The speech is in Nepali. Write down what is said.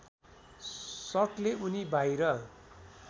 सटले उनी बाहिर